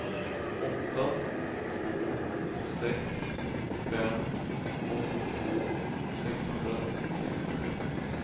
åtta två sex fem åttiotvå sexhundrasextioett